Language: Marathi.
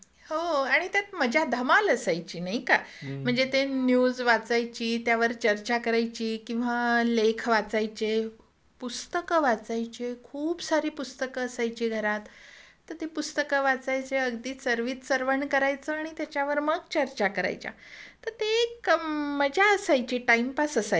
हो आणि त्यात मजा धमाल असायची नाही का. म्हणजे ते न्यूज वाचायची, त्यावर चर्चा करायची किंवा लेख वाचायचे. पुस्तक वाचायचे. खूप सारी पुस्तकं असायची घरात. त ते पुस्तक वाचायचे अगदी चर्वित चर्वण करायचं त्याच्यावर मग चर्चा करायचा तर ते एक मजा असायची टाईमपास असायचा नाही का